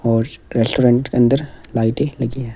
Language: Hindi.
और रेस्टोरेंट के अंदर लाइटें लगी हैं।